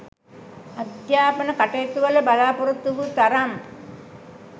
අධ්‍යාපන කටයුතුවල බලා‍පොරොත්තු වූ තරම්